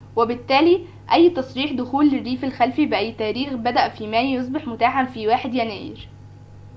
وبالتالي أي تصريح دخول للريف الخلفي بأي تاريخ بدء في مايو يصبح متاحاً في 1 يناير